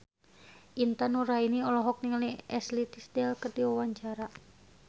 Intan Nuraini olohok ningali Ashley Tisdale keur diwawancara